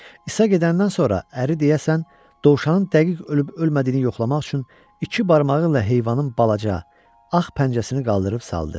İsa gedəndən sonra əri deyəsən dovşanın dəqiq ölüb ölmədiyini yoxlamaq üçün iki barmağı ilə heyvanın balaca, ağ pəncəsini qaldırıb saldı.